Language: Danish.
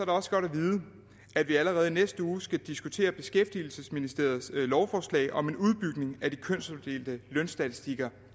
også godt at vide at vi allerede i næste uge skal diskutere beskæftigelsesministeriets lovforslag om en udbygning af de kønsopdelte lønstatistikker